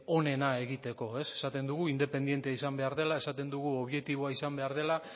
onena egiteko esaten dugu independente izan behar dela esaten dugu objektiboa izan behar dela